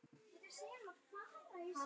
Góði, láttu ekki svona.